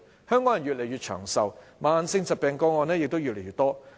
香港人越來越長壽，慢性疾病個案也越來越多。